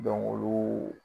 ' olu